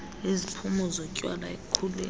iziphumo zotywala ekukhuleni